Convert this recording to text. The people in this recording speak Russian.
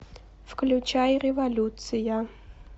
включай революция